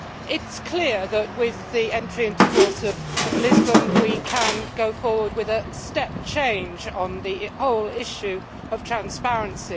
It is clear that with the entry into force of Lisbon, we can go forward with a step change on the whole issue of transparency.